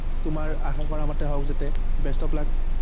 তোমাৰ আশা কৰা মতে হওক যাতে best of luck